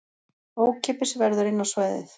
Ókeypis verður inn á svæðið